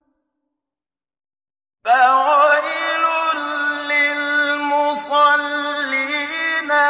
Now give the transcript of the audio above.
فَوَيْلٌ لِّلْمُصَلِّينَ